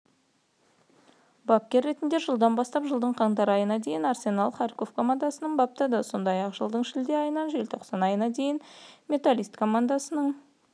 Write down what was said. бапкер ретінде жылдан бастап жылдың қаңтар айына дейін арсенал харьков командасын баптады сондай-ақ жылдың шілде айынан желтоқсан айына дейін металлист командасының